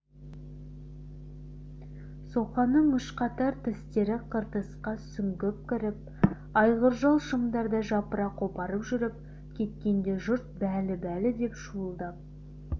соқаның үш қатар тістері қыртысқа сүңгіп кіріп айғыржал шымдарды жапыра қопарып жүріп кеткенде жұрт бәлі бәлі деп шуылдап